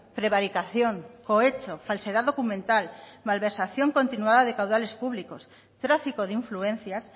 prevaricación cohecho falsedad documental malversación continuada de caudales públicos tráfico de influencias